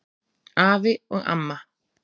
Afi og amma